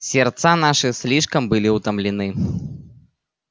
сердца наши слишком были утомлены